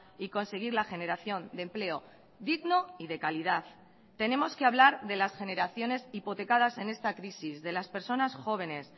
y conseguir la generación de empleo digno y de calidad tenemos que hablar de las generaciones hipotecadas en esta crisis de las personas jóvenes